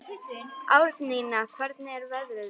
Árnína, hvernig er veðrið úti?